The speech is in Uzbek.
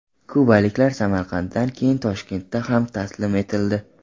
Kubaliklar Samarqanddan keyin Toshkentda ham taslim etildi.